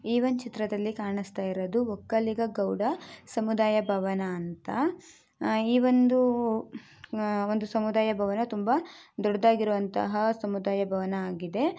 ಈ ಒಂದ್ ಚಿತ್ರದಲ್ಲಿ ಕಾಣಿಸ್ತಿರುವುದು ಒಕ್ಕಲಿಗ ಗೌಡ ಸಮುದಾಯ ಭವನ ಅಂತ ಆ ಈ ಒಂದು ಸಮುದಾಯ ಭವನ್‌ ತುಂಬಾ ದೊಡ್ಡದಾದ ಇರುವಂತಹ ಸಮುದಾಯ ಭವನ ಆಗಿದೆ .